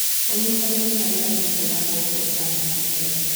Ũnyĩtanĩrĩ harĩ arĩmĩ ũrarehe ũtana mũnene